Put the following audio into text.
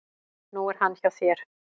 Nú er hann hjá þér.